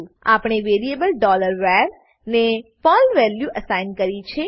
આપણે variable var ને Perl value assign કરી છે